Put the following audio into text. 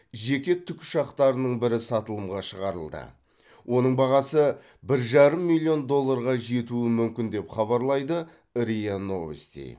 жеке тікұшақтарының бірі сатылымға шығарылды оның бағасы бір жарым миллион долларға жетуі мүмкін деп хабарлайды риа новости